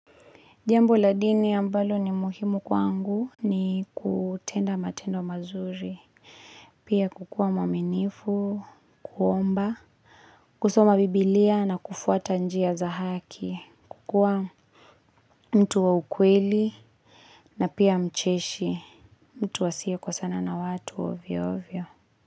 Jambo la dini ambalo ni muhimu kwangu ni kutenda matendo mazuri, pia kukua mwaminifu, kuomba, kusoma biblia na kufuata njia za haki, kukua mtu wa ukweli na pia mcheshi, mtu asiyekosana na watu ovyo ovyo.